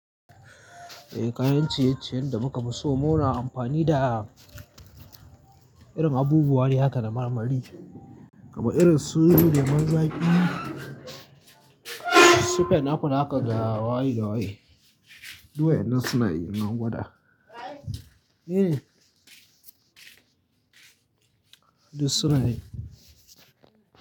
Eh kayan ciye-ciyen da muka fi so muna amfani da irin abubuwa ne haka na marmari, kamar irin su lemon zaƙi, su penapple haka da haka da waye da waye. Du wa in nan su na yi in gwada. Eh. Duk su na yi.